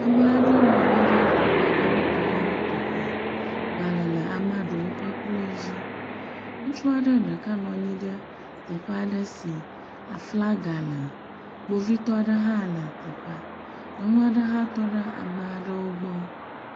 Ame aɖewo nɔ anyi ɖe teƒe aɖe wotɔxɛwotɔxɛ. Gbale le amea ɖewo ƒe kplɔ dzi. Ŋutsua ɖeka nɔ anyi ɖe teƒe aɖe si aflaga le. Kpovitɔ aɖe hã le teƒea. Nyɔnu aɖe hã tɔ ɖe ame aɖewo gbɔ.